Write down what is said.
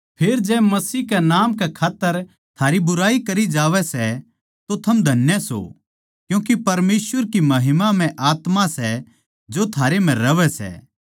फेर जै मसीह कै नाम कै खात्तर थारी बुराई करी जावै सै तो थम धन्य सो क्यूँके परमेसवर की महिमामय आत्मा सै जो थारे म्ह रहवै सै